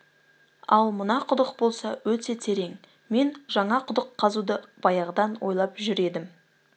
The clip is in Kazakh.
ал мына құдық болса өте терең мен жаңа құдық қазуды баяғыдан ойлап жүр едім